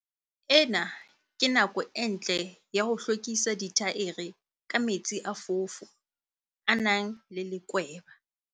Ena ke nako e ntle ya ho hlwekisa dithaere ka metsi a foofo, a nang le lekweba.